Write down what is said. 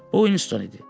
Bu Uinston idi.